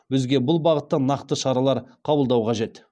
бізге бұл бағытта нақты шаралар қабылдау қажет